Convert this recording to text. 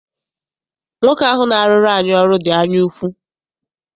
Nwoke ahụ na-arụrụ anyị ọrụ dị anyaukwu.